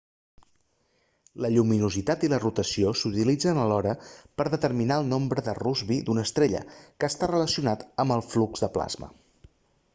la lluminositat i la rotació s'utilitzen alhora per a determinar el nombre de rossby d'una estrella que està relacionat amb el flux de plasma